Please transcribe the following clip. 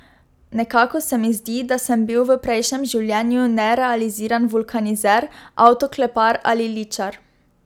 Nekako se mi zdi, da sem bil v prejšnjem življenju nerealiziran vulkanizer, avtoklepar ali ličar.